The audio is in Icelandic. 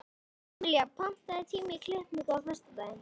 Emelía, pantaðu tíma í klippingu á föstudaginn.